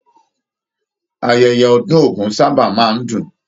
Ayẹyẹ ọdun ogún sábà máa n dùn.